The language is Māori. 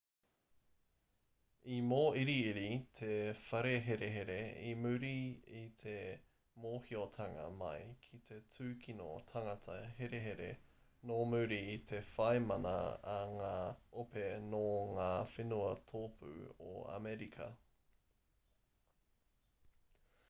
i mōiriiri te whare herehere i muri i te mōhiotanga mai ki te tūkino tangata herehere nō muri i te whai mana a ngā ope nō ngā whenua tōpū o amerika